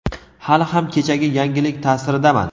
Hali ham kechagi yangilik taʼsiridaman.